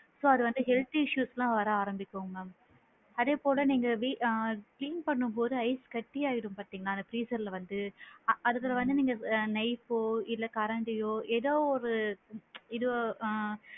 So அது health issues ல வர ஆரம்பிக்கும் ma'am அதே போல நீங்க வீ ஆ clean பண்ணும்போது ஐஸ் காட்டியா ஆயிடும் இல்லையா அந்த freezer ல வந்து அதுக்கு வந்து நீங்க knife போ கரண்டியோ ஏதோ ஒரு இதுவ ஆ!